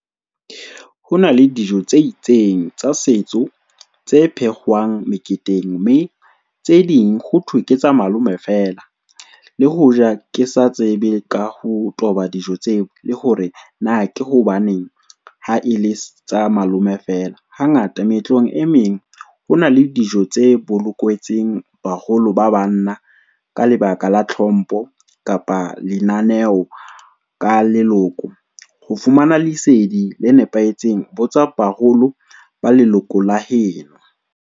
Ho na le dijo tse itseng tsa setso, tse phehwang meketeng, mme tse ding ho thwe ke tsa malome fela le hoja kesa tsebe ka ho toba dijo tseo, le hore na ke hobaneng ha e le tsa malome fela. Ha ngata meetlong e meng, hona le dijo tse bolokwetseng baholo ba banna ka lebaka la tlhompho kapa lenaneo ka leloko. Ho fumana lesedi le nepahetseng botsa baholo ba leloko la heno.